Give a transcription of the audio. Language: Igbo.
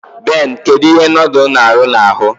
Ben, kedu ihe nodul n'aru na-ahu